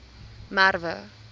merwe